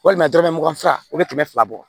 Walima dɔrɔmɛ mugan o bɛ kɛmɛ fila bɔ